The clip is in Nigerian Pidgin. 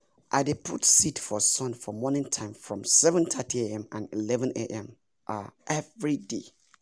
i dey put seed for sun for morning time from 7:30am and 11am um everyday